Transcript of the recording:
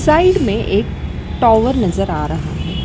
Side में एक tower नजर आ रहा है।